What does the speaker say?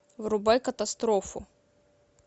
врубай катастрофу